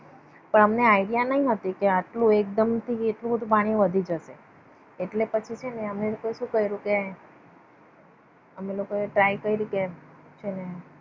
તો અમને idea ના હતો કે આટલું એકદમ થી એટલું બધું પાણી વધી જશે. એટલે પછી છે ને અમે લોકો આ સુ કર્યું કે અમે લોકો આ try કરી કે છે ને